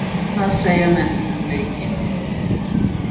En hvað segja menn um leikinn?